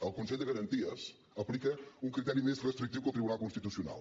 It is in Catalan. el consell de garanties aplica un criteri més restrictiu que el tribunal constitucional